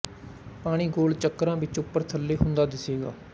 ਪਾਣੀ ਗੋਲ ਚੱਕਰਾਂ ਵਿੱਚ ਉੱਪਰ ਥੱਲੇ ਹੁੰਦਾ ਦਿੱਸੇਗਾ